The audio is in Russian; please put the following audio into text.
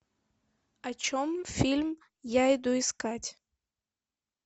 о чем фильм я иду искать